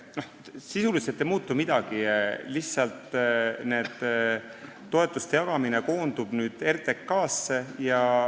Sisuliselt ei muutu midagi, lihtsalt see toetuste jagamine koondub nüüd RTK-sse.